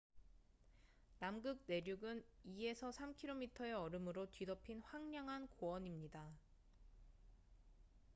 남극 내륙은 2~3km의 얼음으로 뒤덮인 황량한 고원입니다